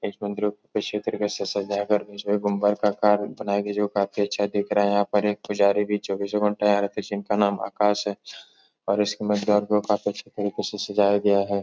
इस मंदिरों तरीके से सजा कर गुंबर का आकार बनाया गया है जो काफी अच्छा दिख रहा है। यहाँ पर एक पुजारी भी चौबीसों घंटा रहते हैं जिनका नाम आकाश है और इसकी को काफी अच्छे तरीके से सजाया गया है।